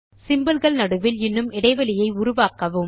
symbolகள் நடுவில் இன்னும் இடைவெளியை உருவாக்கவும்